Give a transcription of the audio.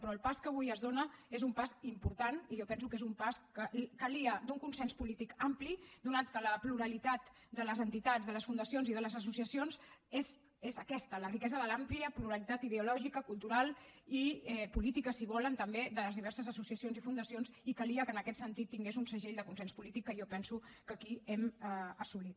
però el pas que avui es dóna és un pas important i jo penso que és un pas en què calia un consens polític ampli atès que la pluralitat de les entitats de les fundacions i de les associacions és aquesta la riquesa de l’àmplia pluralitat ideològica cultural i política si volen també de les diverses associacions i fundacions i calia que en aquest sentit tingués un segell de consens polític que jo penso que aquí hem assolit